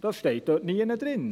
Das steht dort nirgends drin.